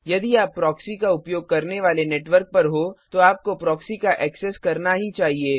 यदि आप प्रॉक्सी का उपयोग करने वाले नेटवर्क पर हो तो आपको प्रॉक्सी का एक्सेस करना ही चाहिए